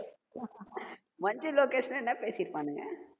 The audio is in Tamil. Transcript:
மஞ்சு லோகேஷ்லாம் என்ன பேசிப்பானுங்க